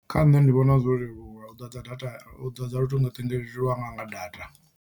Khanṋe ndi vhona zwo leluwa u ḓadza data u ḓadza luṱingothendeleki lwanga nga data.